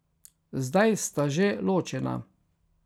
Zdaj sta že ločena.